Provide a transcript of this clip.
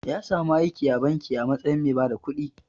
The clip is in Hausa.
Ya samu aiki a banki a matsayin mai bada kudi.